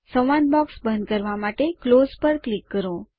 સંવાદ બૉક્સ બંધ કરવા માટે ક્લોઝ પર ક્લિક કરો